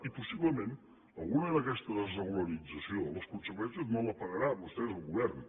i possiblement alguna d’aquesta desregularització les conseqüències no la pagaran vostès al govern